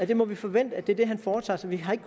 vi må forvente at det er det han foretager sig vi har ikke